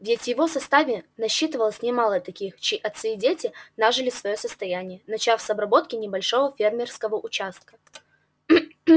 ведь в его составе насчитывалось немало таких чьи отцы и дети нажили своё состояние начав с обработки небольшого фермерского участка